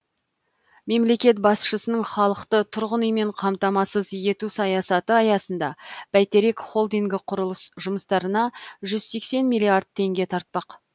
мемлекет басшысының халықты тұрғын үймен қамтамассыз ету саясаты аясында бәйтерек холдингі құрылыс жұмыстарына жүз сексен миллиард теңге тартпақ